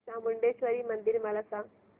चामुंडेश्वरी मंदिर मला सांग